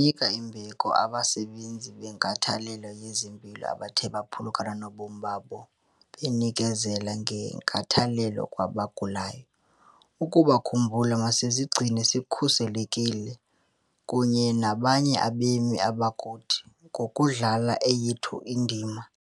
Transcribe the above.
Sinika imbeko abasebenzi benkathalelo yezempilo abathe baphulukana nobomi babo benikezela ngenkathalelo kwabagulayo. Ukubakhumbula, masizigcine sikhuselekile kunye nabanye abemi bakuthi ngokudlala eyethu indima.